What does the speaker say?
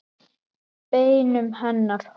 Beinum hennar hold.